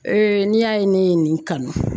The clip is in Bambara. n'i y'a ye ne ye nin kanu